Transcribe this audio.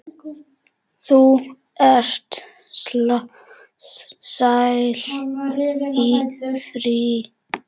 Þú ert sjálf í fríi.